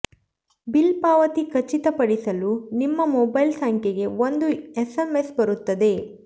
bill ಪಾವತಿ ಖಚಿತ ಪಡಿಸಲು ನಿಮ್ಮ ಮೊಬೈಲ್ ಸಂಖ್ಯೆಗೆ ಒಂದು ಎಸ್ಎಂಎಸ್ ಬರುತ್ತದೆ